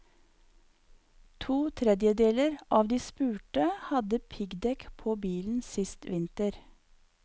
To tredjedeler av de spurte hadde piggdekk på bilen sist vinter.